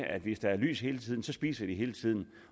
at hvis der er lys hele tiden så spiser de hele tiden